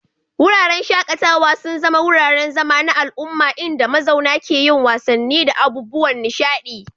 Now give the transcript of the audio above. Wuraren shaƙatawa sun zama wuraren zama na al'umma inda mazauna ke yin wasanni da abubuwan nishaɗi.